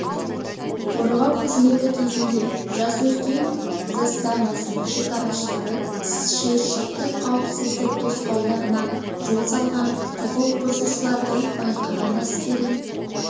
қорғау қызметі кезінде жасөркен заставасының шекарашылары шиыршықты қауіпсіздік тосқауларына жол салған құқық бұзушыларды байқаған әскери